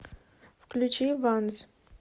включи ванз